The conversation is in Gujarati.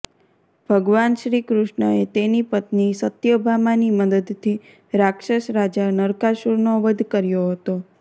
ભગવાન શ્રીકૃષ્ણએ તેની પત્ની સત્યભામાની મદદથી રાક્ષસ રાજા નરકાસુરનો વધ કર્યો હતો